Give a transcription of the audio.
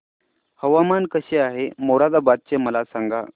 हवामान कसे आहे मोरादाबाद चे मला सांगा